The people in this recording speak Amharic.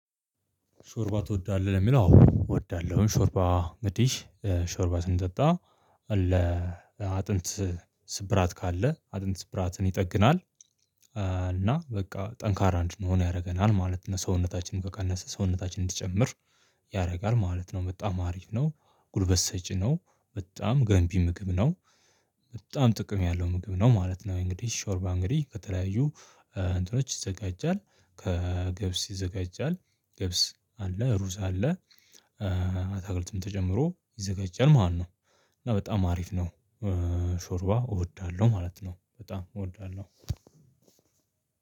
ሾርባ ትወዳለህ? ለሚል አዎ እወዳለሁ ሾርባ አንግዲህ ሾርባ ስንጠጣ ለ አጥንት ስብራት ካለ አጥንት ስብራትን ይጠግናል። እና በቃ ጠንካራ እንድንሆን ያረገናል ማለት ነው። ሰውነታችንን ከቀነሰ ሰውነታችን እንዲጨምር ያረጋል ማለት ነው። በጣም አሪፍ ነው ጉልበት ሰጪ ነው በጣም ገንቢ ምግብ ነው። በጣም ጥቅም ያለው ምግብ ነው ማለት ነው። እንግዲህ ሾርባ እንግዲህ ከተለያዩ እንትኖች ይዘጋጃል ከገብስ ይዘጋጃል ገብስ አለ ሩዝ አለ አታክልቱም ተጨምሮ ይዘጃል ማለት ነው። እና በጣም አሪፍ ነው። ሾርባ እወዳለሁ ማለት ነው። በጣም እወዳለው